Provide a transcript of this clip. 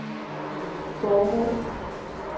formålet